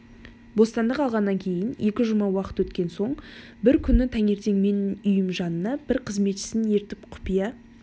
бостандық алғаннан кейін екі жұма уақыт өткен соң бір күні таңертең менің үйіме жанына бір қызметшісін ертіп құпия